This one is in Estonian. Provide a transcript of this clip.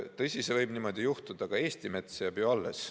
Tõsi, see võib niimoodi juhtuda, aga Eesti mets jääb ju alles.